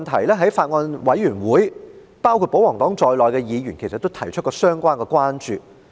在法案委員會上，包括保皇黨在內的議員其實也曾就這問題提出關注。